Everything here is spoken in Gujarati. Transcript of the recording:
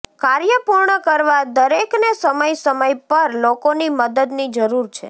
કાર્ય પૂર્ણ કરવા દરેકને સમય સમય પર લોકોની મદદની જરૂર છે